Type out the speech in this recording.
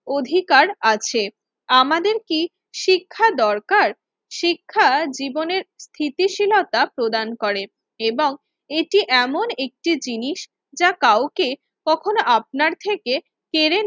অধিকার আছে। আমাদের কি শিক্ষা দরকার? শিক্ষা জীবনের স্থিতিশীলতা প্রদান করে এবং এটি এমন একটি জিনিস যা কাউকে কখনো আপনার থেকে কেড়ে